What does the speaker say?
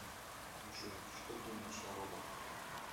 джой что думаешь о роботах